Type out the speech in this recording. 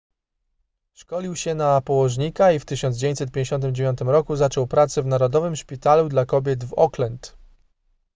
szkolił się na położnika i w 1959 roku zaczął pracę w narodowym szpitalu dla kobiet w auckland